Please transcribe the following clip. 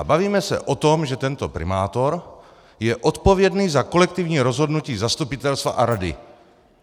A bavíme se o tom, že tento primátor je odpovědný za kolektivní rozhodnutí zastupitelstva a rady.